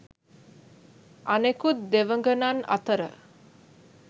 අනෙකුත් දෙවඟනන් අතර